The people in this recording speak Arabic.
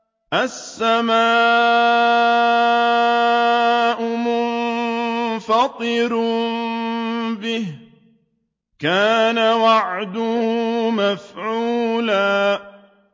السَّمَاءُ مُنفَطِرٌ بِهِ ۚ كَانَ وَعْدُهُ مَفْعُولًا